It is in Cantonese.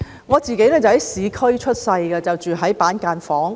我在市區出生，當時住在板間房。